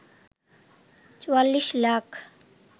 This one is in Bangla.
৪৪ লাখ